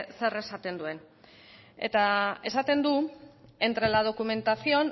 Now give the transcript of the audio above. zer esaten duen eta esaten du entre la documentación